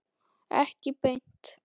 Ekki beint